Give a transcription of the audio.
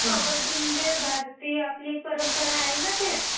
कब्बडी म्हणजे भारतीय आपली परंपरा आहे ना ते.